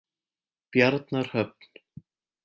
Bjarnarhöfn